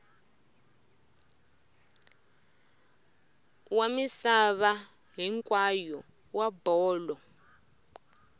wa misava hinkwayo wa bolo